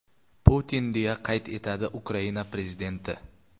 Putin”, deya qayd etadi Ukraina prezidenti.